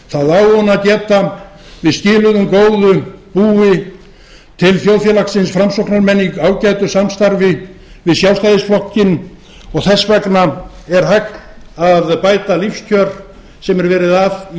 það á hún að geta við skiluðum góðu búi til þjóðfélagsins framsóknarmenn í ágætu samstarfi við sjálfstæðisflokkinn og þess vegna er hægt að bæta lífskjör sem er verið að í